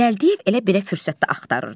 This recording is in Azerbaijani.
Gəldiyev elə belə fürsət də axtarırdı.